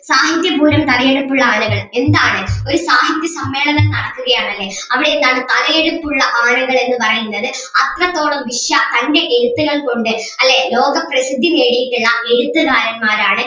സാഹിത്യപൂരം തലയെടുപ്പുള്ള ആനകൾ ഒരു സാഹിത്യ സമ്മേളനം നടക്കുകയാണല്ലേ അവിടെ എന്താണ് തലയെടുപ്പുള്ള ആനകൾ എന്ന് പറയുന്നത് അത്രത്തോളം വിശ്വ തൻ്റെ എഴുത്തുകൾ കൊണ്ട് അല്ലേ ലോക പ്രസിദ്ധി നേടിയിട്ടുള്ള എഴുത്തുകാരന്മാരാണ്